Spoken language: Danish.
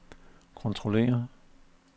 kontrollere